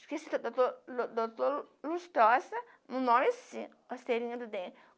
Esqueci, o doutor doutor lustrosa, um nome assim, a cerinha do dente.